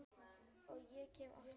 Og ég kem aftur.